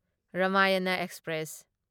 ꯔꯥꯃꯥꯌꯅꯥ express